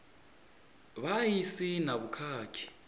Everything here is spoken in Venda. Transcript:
vha a si na vhukhakhi